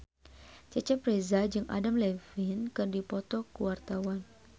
Cecep Reza jeung Adam Levine keur dipoto ku wartawan